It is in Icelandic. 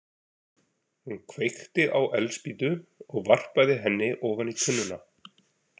Hún kveikti á eldspýtu og varpaði henni ofan í tunnuna.